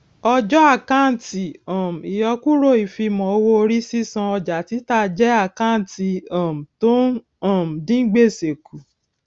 ọjọ àkántì um ìyọkúrò ìfimọ owó orí sísan ọjà títa jẹ àkántì um tó ń um dín gbèsè kù